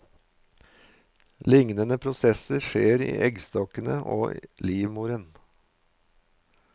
Lignende prosesser skjer i eggstokkene og livmoren.